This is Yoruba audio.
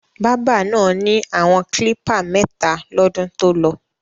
Bábà náà ni àwọn klípà mẹ́ta lọ́dún tolọ.